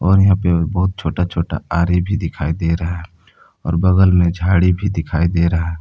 और यहां पे बहुत छोटा छोटा आरे भी दिखाई दे रहा और बगल में झाड़ी भी दिखाई दे रहा।